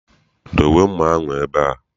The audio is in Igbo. Dowe mma ahụ ebe a!